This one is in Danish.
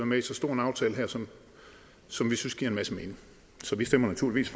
med i så stor en aftale her som som vi synes giver en masse mening så vi stemmer naturligvis